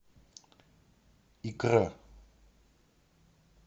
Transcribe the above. икра